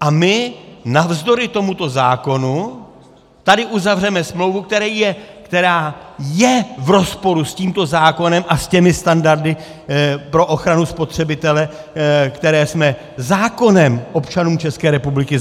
A my navzdory tomuto zákonu tady uzavřeme smlouvu, která je v rozporu s tímto zákonem a s těmi standardy pro ochranu spotřebitele, které jsme zákonem občanům České republiky